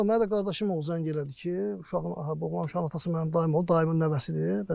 Vallah mənə də qardaşım zəng elədi ki, uşağın oğlan uşağının atası mənim dayım olub, dayımın nəvəsidir.